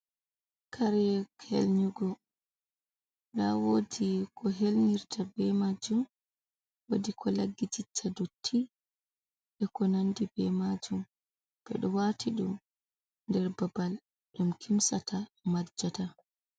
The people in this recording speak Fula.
Kare helyugo, nda woɗi ko helnyirta be majjum wodi ko lagitita dotti, e ko nandi ɓe majjum, ɓeɗo wati ɗum nder babal ɗum kimtsata majata.